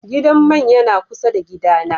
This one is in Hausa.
Gidan mai yana kusa da gida na.